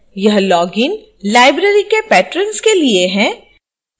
यह login library के patrons के लिए है